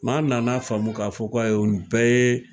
M'an nana faamu k'a fɔ k'a ye nin bɛɛ ye